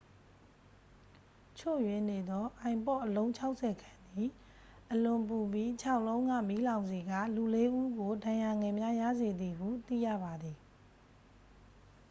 ချို့ယွင်းနေသော ipod အလုံး 60 ခန့်သည် အလွန်ပူပြီး ခြောက် လုံးက မီးလောင်စေကာ လူ လေး ဦးကို ဒဏ်ရာငယ်များ ရစေသည်ဟု သိရပါသည်